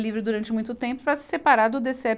livre durante muito tempo para se separar do DêCêÉ